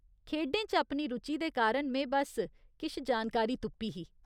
खेढें च अपनी रुचि दे कारण में बस्स किश जानकारी तुप्पी ही।